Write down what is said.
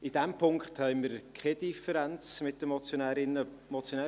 In diesem Punkt haben wir keine Differenz mit den Motionärinnen und dem Motionär.